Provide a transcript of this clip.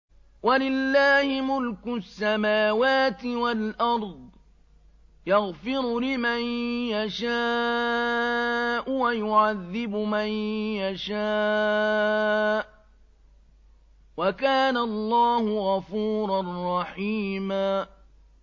وَلِلَّهِ مُلْكُ السَّمَاوَاتِ وَالْأَرْضِ ۚ يَغْفِرُ لِمَن يَشَاءُ وَيُعَذِّبُ مَن يَشَاءُ ۚ وَكَانَ اللَّهُ غَفُورًا رَّحِيمًا